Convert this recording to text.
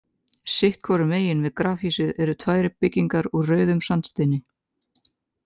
Sitt hvoru megin við grafhýsið eru tvær byggingar úr rauðum sandsteini.